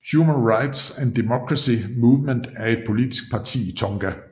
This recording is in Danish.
Human Rights and Democracy Movement er et politisk parti i Tonga